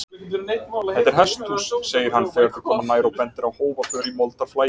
Þetta er hesthús, segir hann þegar þau koma nær og bendir á hófaför í moldarflagi.